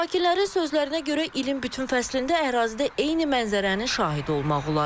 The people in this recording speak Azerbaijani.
Sakinlərin sözlərinə görə ilin bütün fəslində ərazidə eyni mənzərənin şahidi olmaq olar.